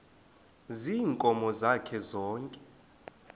ziinkomo zakhe zonke